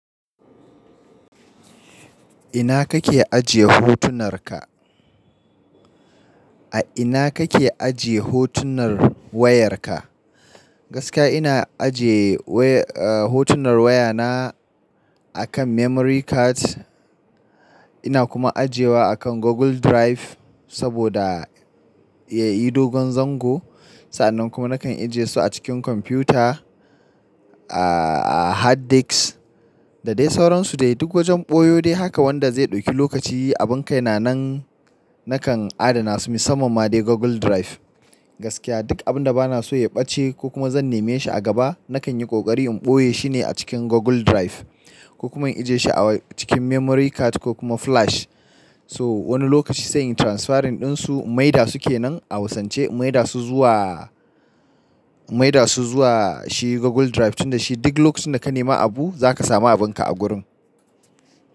Ina kake ajiye hotunarka? A ina kake ajiye hotunan wayarka? Gaskiya ina ajiye hotunan wayana akan memory card. Ina kuma ajiyewa akan Google Drive saboda ya yi dogon zango. Sa'nan kuma nakan ajiye su a cikin kwamfuta a hard disk da dai sauransu dai duk wajen ɓoyo dai haka wanda zai ɗauki lokaci abin kai na nan nakan adana su musamman ma dai Google Drive. Gaskiya duk abin da bana so ya ɓace ko kuma zan neme shi a gaba nakan yi ƙoƙari in ɓoye shi ne a cikin Google Drive ko kuma in ajiye shi a cikin memory card ko kuma flash. So wani lokaci sai in transferring ɗinsu maida suke nan a wasance maida su zuwa, maida su zuwa shi Google Drive tunda shi duk lokacin da ka nema abu za ka samu abin ka a gurin.